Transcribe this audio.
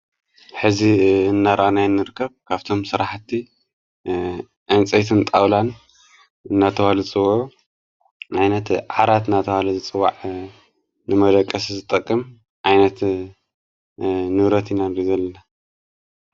ሕዚ እናራኣናይ እንርከብ ካብቶም ሠራሕቲ ዕንፀይትንጣውላን ናተዋሉ ጽወዑ ኣይነት ዓራት ናተዋለ ዝፅዋዕ ንመደቀስ ዘጠቅም ኣይነት ንብረት ኢና ንርኢ ዘልና::